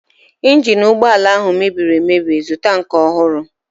Ịnjin ụgbọala ha mebiri emebi, zụta nke ọhụrụ!